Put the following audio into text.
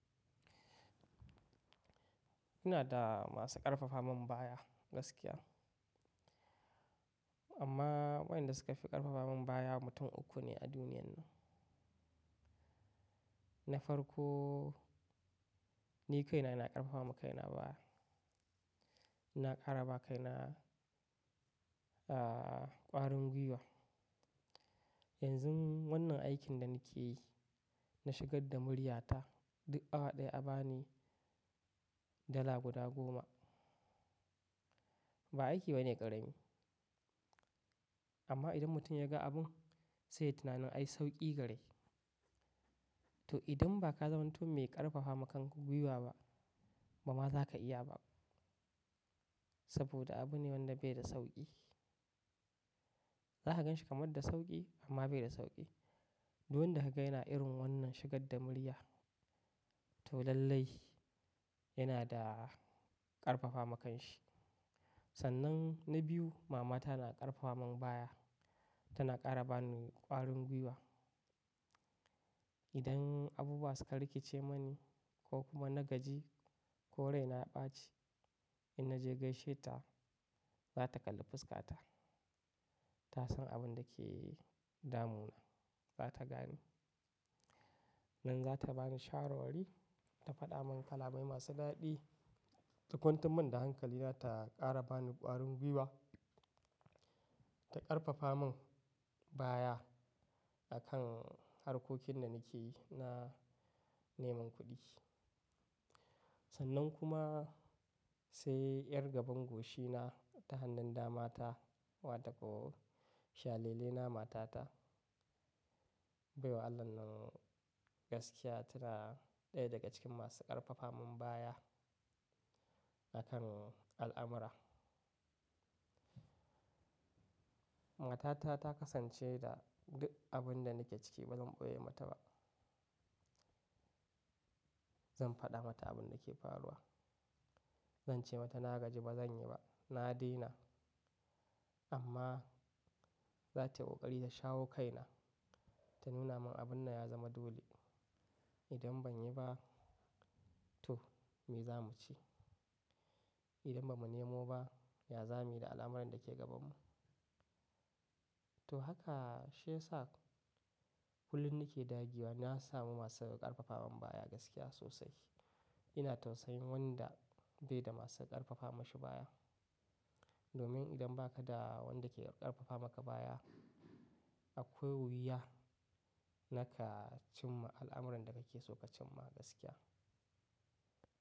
Ina da masu ƙarfafa mun baya gaskiya. Amma waɗanda suka fi ƙarfafa mun baya mutum uku ne a duniyan nan. Na farko ni kaina ina ƙarfafa ma kaina baya. Ina ƙara ba kaina, ah, ƙwarin gwiwa. Yanzun wannan aikin da nake yi, na shigar da murya ta duk awa ɗaya a ba ni dala guda goma. Ba aiki bane ƙarami. Amma idan mutum ya ga abun sai ya tunanin ai sauƙi gare shi. To idan ba ka zamanto mai ƙarfafa ma kanka gwiwa ba, ba ma za ka iya ba. Saboda abu ne wanda bai da sauƙi. Za ka gan shi kamar da sauƙi amma bai da sauƙi. Duk wanda ka ga yana irin wannan shigar da murya, to lallai yana da ƙarfafa makan shi. Sannan na biyu mama ta na ƙarfafa mun baya. Tana ƙara ba ni ƙwarin gwiwa. Idan abubuwa suka rikice mani ko kuma na gaji ko raina ya ɓaci, in na je gaishe ta, za ta kalli fusƙata. Ta san abun da ke damu na. Ba ta gani. Nan za ta bani shawarwari, ta faɗa mun kalamai masu daɗi. Ta kwantar min da hankali na ta ƙara ba ni ƙwarin gwiwa. Ta ƙarfafa mun baya a kan harkokin da nake yi na neman kuɗi. Sannan kuma sai ƴar gaban goshi na ta hannun dama ta wato ko shalele na mata ta. Baiwar Allah nan gaskiya tana ɗaya daga cikin masu ƙarfafa mun baya a kan al'amura. Matata ta kasance da duk abinda nake ciki ba zan ɓoye mata ba. Zan faɗa mata abin da ke faruwa. Zan ce mata na gaji ba zan yi ba. Na daina. Amma za ta yi ƙoƙari ta shawo kaina, ta nuna min abinnan ya zama dole. Idan ban yi ba to me za mu ci? Idan bamu nemo ba, ya za muyi da al'amuran da ke gaban mu? To haka shi yasa kullum nake dagewa, na samu masu ƙarfafa mun baya gaskiya sosai. Ina tausayin wanda bai da masu ƙarfafa mashi baya. Domin idan ba ka da wanda ke ƙarfafa maka baya, akwai wuya naka cimma al'amuran da nake so na cimma gaskiya.